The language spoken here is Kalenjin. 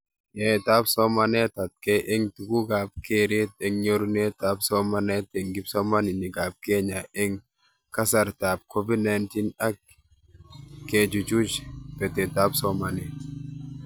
Yaetab samanetab atkei eng tugukab keret eng nyorunetab somanet eng kipsomaninkab Kenya eng kasartaab COVID-19 ak kechuchuch betetab somanet